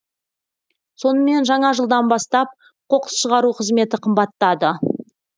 сонымен жаңа жылдан бастап қоқыс шығару қызметі қымбаттады